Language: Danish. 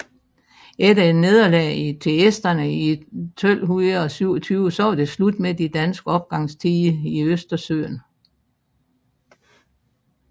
Efter et nederlag til esterne i 1227 var det slut med de danske opgangstider i Østersøen